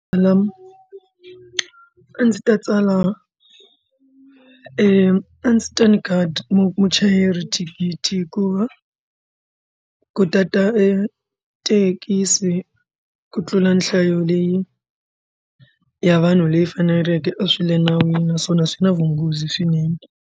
Mina a ndzi ta tsala a ndzi ta nyika muchayeri thikithi hikuva ku tata e thekisi ku tlula nhlayo leyi ya vanhu leyi faneleke a swi le nawini naswona swi na vunghozi swinene.